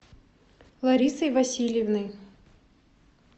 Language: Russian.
ларисой васильевной